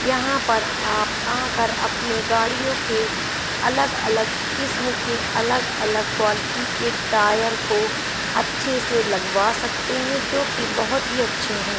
यहां पर आप आंकर अपने गाड़ियों के अलग-अलग किस्म के अलग-अलग क्वालिटी के टायर को अच्छे से लगवा सकते हैं जोकि बोहोत ही अच्छे हैं।